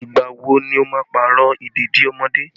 Ìgbà wo ni o máa Pààrọ̀ ìdèdí ọmọdé?